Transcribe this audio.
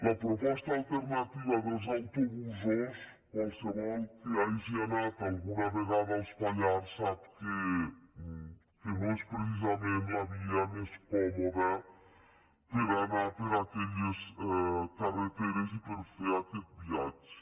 la proposta alternativa dels autobusos qualsevol que hagi anat alguna vegada als pallars sap que no és precisament la via més còmoda per a anar per aquelles carreteres i per a fer aquest viatge